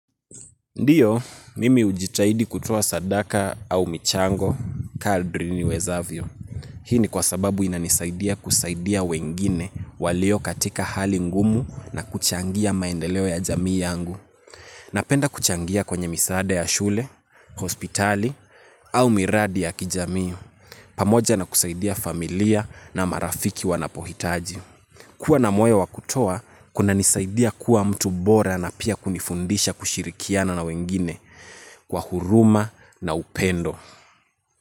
Ndiyo, mimi hujitahidi kutoa sadaka au michango, kadri niwezavyo. Hii ni kwa sababu inanisaidia kusaidia wengine walio katika hali ngumu na kuchangia maendeleo ya jamii yangu. Napenda kuchangia kwenye misaada ya shule, hospitali au miradi ya kijamii. Pamoja na kusaidia familia na marafiki wanapohitaji. Kuwa na moyo wa kutoa, kunanisaidia kuwa mtu bora na pia kunifundisha kushirikiana na wengine. Kwa huruma na upendo.